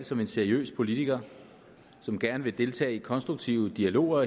som en seriøs politiker som gerne vil deltage i konstruktive dialoger